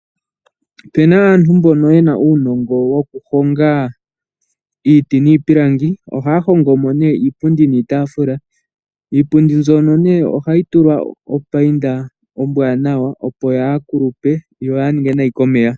Opu na aantu mboka ye na uunongo wokuhonga iiti niipilangi oha ya hongomo iipundi niitafula. Iipundi mbyono ohayi tulwa opayinda ombwanawa opo yaa kulupe yo kayi ninge nayi komeya.